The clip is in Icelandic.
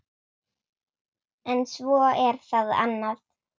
En svo er það annað.